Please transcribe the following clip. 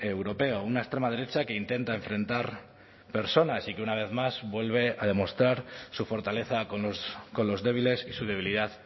europeo una extrema derecha que intenta enfrentar personas y que una vez más vuelve a demostrar su fortaleza con los débiles y su debilidad